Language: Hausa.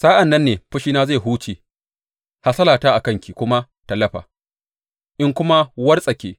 Sa’an nan ne fushina zai huce hasalata a kanki kuma ta lafa, in kuma wartsake.